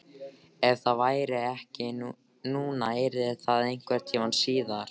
Ef það væri ekki núna yrði það einhvern tíma síðar.